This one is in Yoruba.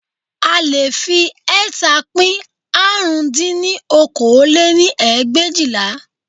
A leè fi ẹẹ́ta pín árún dín ní okòó lé-ní ẹgbẹ̀éjìlá